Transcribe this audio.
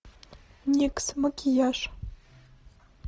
никс макияж